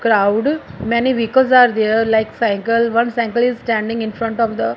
crowd many vehicles are there like cycle one cycle is standing in front of the--